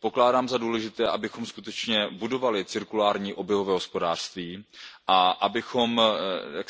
Pokládám za důležité, abychom skutečně budovali cirkulární hospodářství a abychom